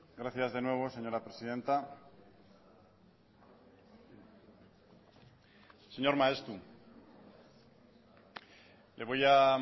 gracias de nuevo señora presidenta señor maeztu le voy a